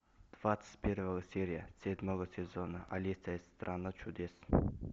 двадцать первая серия седьмого сезона алиса из страны чудес